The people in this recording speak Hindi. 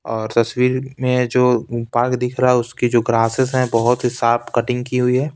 और तस्वीर में जो पार्क दिख रहा है उसकी जो ग्रासेस हैं बहुत ही साफ कटिंग की हुई है।